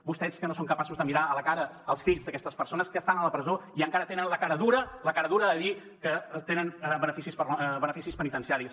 vostès que no són capaços de mirar a la cara els fills d’aquestes persones que estan a la presó i encara tenen la cara dura la cara dura de dir que tenen beneficis penitenciaris